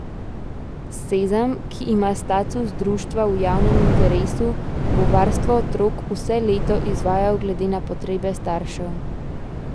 Sezam, ki ima status društva v javnem interesu, bo varstvo otrok vse leto izvajal glede na potrebe staršev.